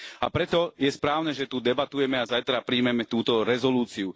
A preto je správne, že tu debatujeme a zajtra prijmeme túto rezolúciu.